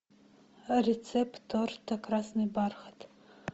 рецепт торта красный бархат